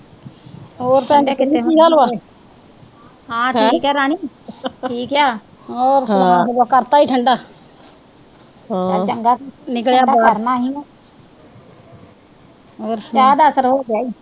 ਹੋਰ ਸੁਣਾਓ ਫਿਰ, ਕਰਤਾ ਈ ਠੰਡਾ ਚਲ ਠੰਡਾ, ਠੰਡਾ ਤਾਂ ਕਰਨਾ ਈ ਸੀ ਚਾਹ ਦਾ ਅਸਰ ਹੋਗਿਆ ਈ।